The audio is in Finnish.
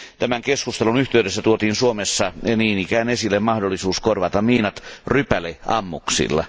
Tämän keskustelun yhteydessä tuotiin Suomessa niin ikään esille mahdollisuus korvata miinat rypäleammuksilla.